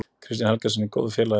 Kristjáni Helgasyni góður félagi.